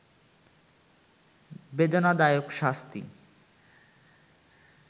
বেদনাদায়ক শাস্তি